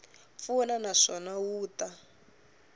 pfuna na swona wu ta